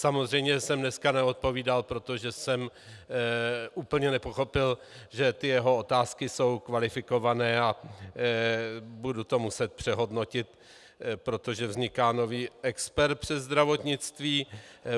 Samozřejmě jsem dneska neodpovídal, protože jsem úplně nepochopil, že ty jeho otázky jsou kvalifikované, a budu to muset přehodnotit, protože vzniká nový expert přes zdravotnictví.